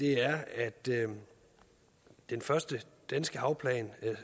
er at den første danske havplan